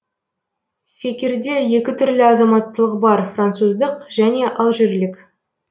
фекирде екі түрлі азаматтылық бар француздық және алжирлік